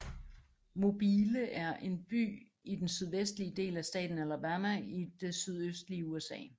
Mobile er en by i den sydvestlige del af staten Alabama i det sydøstlige USA